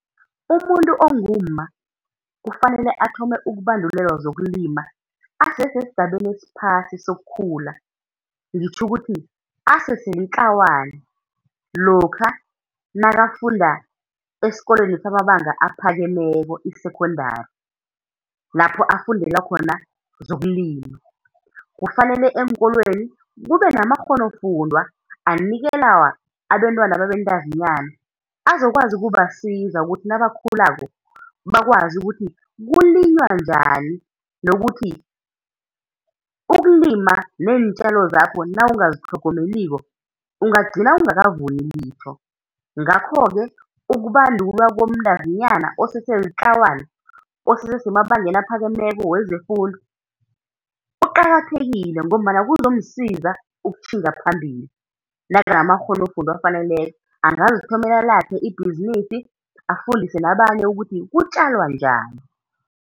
Umuntu ongumma kufanele athome ukubandulelwa zokulima asese esigabeni esiphasi sokukhula, ngitjho ukuthi asese litlawana, lokha nakafunda esikolweni samabanga aphakemeko, i-Secondary, lapho afundela khona zokulima. Kufanele eenkolweni kube namakghonofundwa anikelwa abentwana ababentazinyana, azokwazi ukubasiza ukuthi nabakhulako bakwazi ukuthi kulinywa njani nokuthi ukulima neentjalo zakho nawungazitlhogomeliko ungagcina ungakavuni litho. Ngakho-ke ukubandulwa komntazinyana osese litlawana, osese semabangeni aphakemeko wezefundo kuqakathekile ngombana kuzomsiza ukutjhinga phambili, nakanamakghonofundwa afaneleko angazithomela lakhe ibhizinisi, afundise nabanye ukuthi kutjalwa njani.